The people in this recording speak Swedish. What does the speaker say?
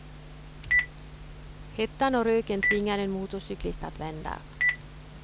Hettan och röken tvingar en motorcyklist att vända.